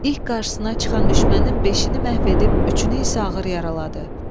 İlk qarşısına çıxan düşmənin beşini məhv edib, üçünü isə ağır yaraladı.